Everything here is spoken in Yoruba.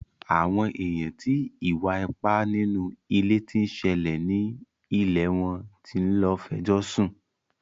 Àwọn èèyàn ti ìwà ipá nínú ilé tí ń ṣẹlẹ̀ ni ilẹ̀ wọn tí ń lọ fẹjọ́ sùn.